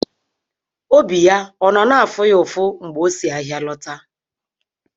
Obi ya ọ nọ na-afụ ya ụfụ mgbe o si ahịa lọta?